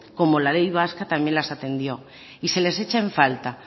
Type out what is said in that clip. como la ley vasca también las atendió y se les echa en falta